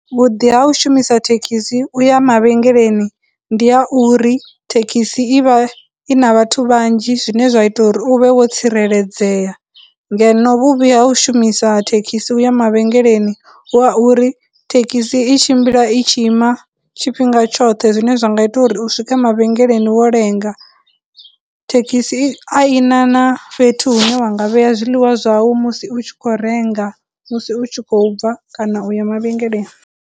Vhuḓi ha u shumisa thekhisi u ya mavhengeleni ndi ha uri thekhisi i vha i na vhathu vhanzhi, zwine zwa ita uri u vhe wo tsireledzea, ngeno vhuvhi ha u shumisa thekhisi u ya mavhengeleni hu ha uri thekhisi i tshimbila i tshi ima tshifhinga tshoṱhe zwine zwa nga ita uri u swike mavhengeleni wo lenga. Thekhisi a ina na fhethu hune wanga vheya zwiḽiwa zwau musi u tshi khou renga musi u tshi khou bva kana u ya mavhengeleni.